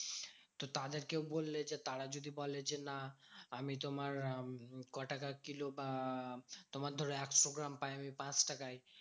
তো তাদেরকেও বললে যে, তারা যদি বলে যে না আমি তোমার আহ ক টাকার কিলো বা তোমার ধরো একশো গ্রাম পাই আমি পাঁচ টাকায়।